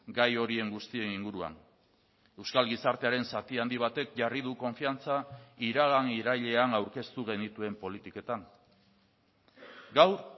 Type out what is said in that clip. gai horien guztien inguruan euskal gizartearen zati handi batek jarri du konfiantza iragan irailean aurkeztu genituen politiketan gaur